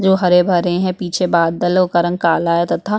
जो हरे-भरे है पीछे बादलो का रंग काला है तथा--